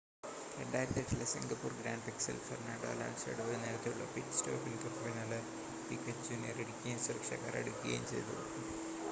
2008-ലെ Singapore ഗ്രാൻപ്രിക്സിൽ Fernando അലോൺസോയുടെ ഒരു നേരത്തെയുള്ള പിറ്റ് സ്റ്റോപ്പിന് തോട്ടുപിന്നാലെ പിക്വെറ്റ് ജൂനിയർ ഇടിക്കുകയും സുരക്ഷാ കാർ എടുക്കുകയും ചെയ്തു